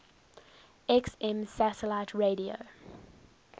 xm satellite radio